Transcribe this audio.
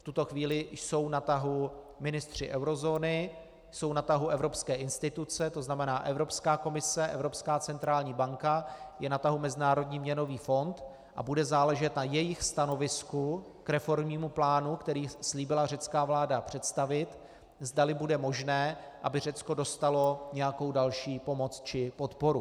V tuto chvíli jsou na tahu ministři eurozóny, jsou na tahu evropské instituce, to znamená Evropská komise, Evropská centrální banka, je na tahu Mezinárodní měnový fond a bude záležet na jejich stanovisku k reformnímu plánu, který slíbila řecká vláda představit, zdali bude možné, aby Řecko dostalo nějakou další pomoc či podporu.